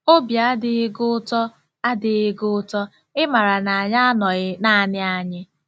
Obi adịghị gị ụtọ adịghị gị ụtọ ịmara na anyị anọghị naanị anyị? -